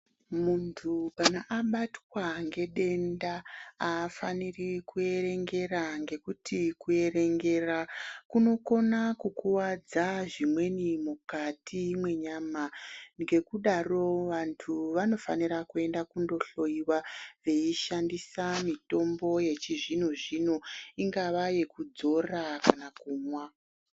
Munthu kana abatwa ngedenda, afaniri kuyerengera, ngekuti kuyerengera kunokona kukuwadza zvimweni mukati mwenyama. Ngekudaro, vantu vanofanira kuyenda kundohloyiwa veyishandisa mitombo yechizvino zvino, ingava yekudzora kana kumwa.